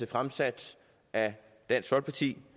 fremsat af dansk folkeparti